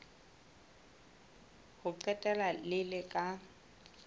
ho qetela le le ka